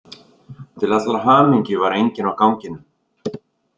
Til allrar hamingju var enginn á ganginum.